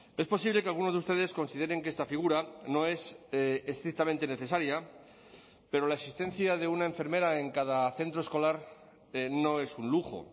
es posible que algunos de ustedes consideren que esta figura no es estrictamente necesaria pero la existencia de una enfermera en cada centro escolar no es un lujo